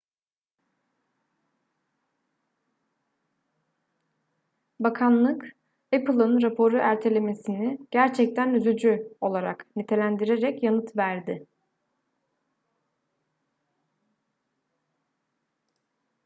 bakanlık apple'ın raporu ertelemesini gerçekten üzücü olarak nitelendirerek yanıt verdi